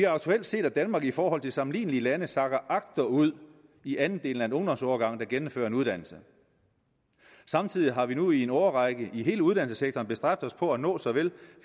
aktuelt set at danmark i forhold til sammenlignelige lande sakker agterud i andelen af en ungdomsårgang der gennemfører uddannelse samtidig har vi nu i en årrække i hele uddannelsessektoren bestræbt os på at nå såvel